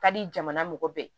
Ka di jamana mɔgɔ bɛɛ